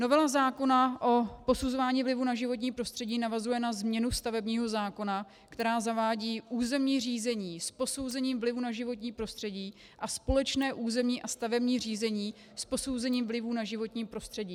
Novela zákona o posuzování vlivu na životní prostředí navazuje na změnu stavebního zákona, která zavádí územní řízení s posouzením vlivu na životní prostředí a společné územní a stavební řízení s posouzením vlivu na životní prostředí.